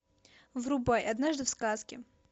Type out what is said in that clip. врубай однажды в сказке